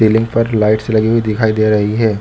Ceiling पर lights लगी हुई दिखाई दे रही है।